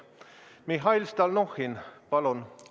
Mihhail Stalnuhhin, palun!